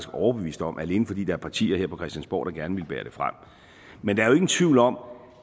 overbevist om alene fordi der er partier her på christiansborg der gerne ville bære det frem men der er jo ingen tvivl om